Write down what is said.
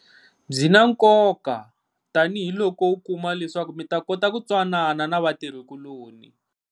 Byi na nkoka tanihiloko u kuma leswaku mi ta kota ku twanana na vatirhi kuloni.